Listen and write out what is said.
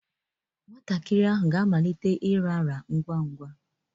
Nwatakịrị ahụ ga-amalite ịrara ngwa ngwa.